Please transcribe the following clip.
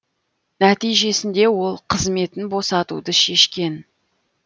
нәтижесінде ол қызметін босатуды шешкен